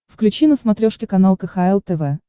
включи на смотрешке канал кхл тв